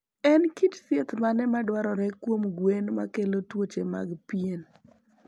En kit thieth mane madwarore kuom gwen makelo tuoche mag pien?